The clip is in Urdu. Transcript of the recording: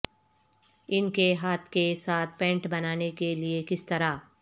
ان کے ہاتھ کے ساتھ پینٹ بنانے کے لئے کس طرح